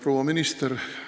Rahvasaadikud!